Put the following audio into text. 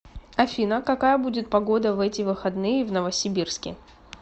афина какая будет погода в эти выходные в новосибирске